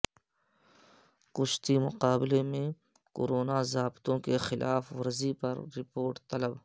کشتی مقابلے میں کورونا ضابطوں کیخلاف ورزی پر رپورٹ طلب